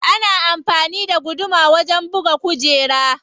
Ana amfani da guduma wajen buga kujera.